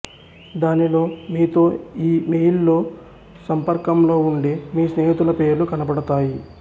దానిలో మీతో ఈ మెయిల్లో సంపర్కంలో వుండే మీ స్నేహితులపేర్లు కనబడతాయి